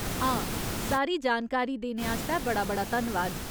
हां, सारी जानकारी देने आस्तै बड़ा बड़ा धन्नवाद।